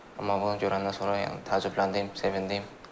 Amma bunu görəndən sonra yəni təəccübləndim, sevindim.